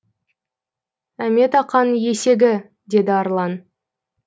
әмет ақаның есегі деді ерлан